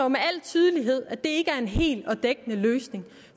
med al tydelighed viser at det ikke er en hel og dækkende løsning